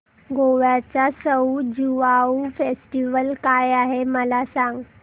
गोव्याचा सउ ज्युआउ फेस्टिवल काय आहे मला सांग